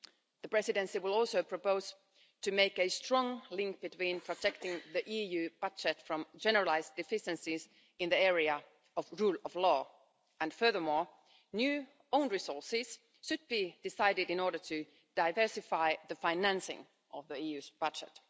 The Presidency will also propose to make a strong link between protecting the EU budget from generalised deficiencies in the area of the rule of law, and furthermore new own resources should be decided in order to diversify the financing of the EU's budget.